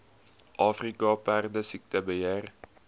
afrika perdesiekte beheer